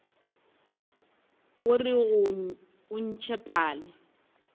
orego ga o ntšhe pale